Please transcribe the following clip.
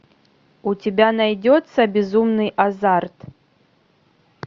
у тебя найдется безумный азарт